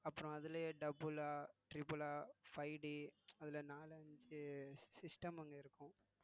அப்புறம் அதிலேயே double ஆ triple ஆ five D அதுல நாலு அஞ்சு system அங்க இருக்கும்